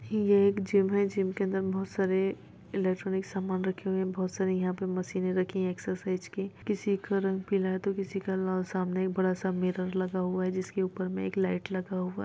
ये एक जिम है जिम के अन्दर बहुत सारे इलेक्ट्रोनिक सामान रखे हुए हैं बहुत सारी यहाँ पर मशीन रखी हुई हैं एक्सरसाइज की किसी का रंग पीला है तो किसी का रंग लाल और सामने बड़ा सा मिरर लगा हुआ हैं जिसके ऊपर में एक लाईट लगा हुआ हैं।